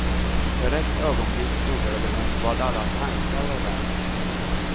För ett ögonblick undrade hon vad alla tankar var värda.